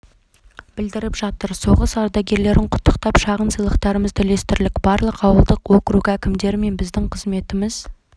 білдіріп жатыр соғыс ардагерлерін құттықтап шағын сыйлықтарымызды үлестірдік барлық ауылдық округ әкімдері мен біздің қызметіміз